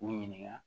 K'u ɲininka